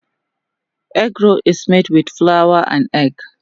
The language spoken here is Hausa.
Egg roll is made with flour and egg.